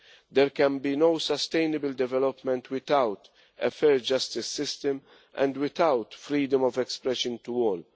There can be no sustainable development without a fair justice system and without freedom of expression for all.